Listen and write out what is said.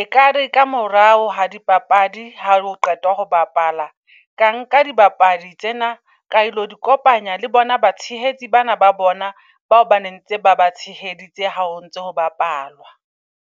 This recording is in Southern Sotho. Ekare ka morao ha dipapadi ha o qetwa ho bapala. Ka nka di bapadi tsena ka ilo di kopanya le bona batshehetsi bana ba bona. Bao ba nentse ba batshehetsi tsa hao ntso bapalwa.